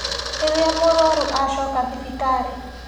Rĩrĩa mũrũaru acoka thibitarĩ